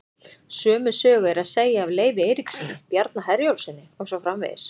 Sömu sögu er að segja af Leifi Eiríkssyni, Bjarna Herjólfssyni og svo framvegis.